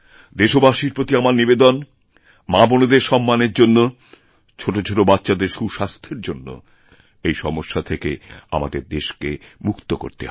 দেশবাসীর প্রতি আমার নিবেদন মাবোনেদের সম্মানের জন্য ছোটোছোটোবাচ্চাদের সুস্বাস্থ্যের জন্য এই সমস্যা থেকে আমাদের দেশকে মুক্ত করবে হবে